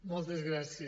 moltes gràcies